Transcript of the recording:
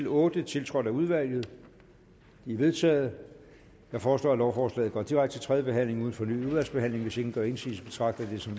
otte tiltrådt af udvalget de er vedtaget jeg foreslår at lovforslaget går direkte til tredje behandling uden fornyet udvalgsbehandling hvis ingen gør indsigelse betragter jeg det som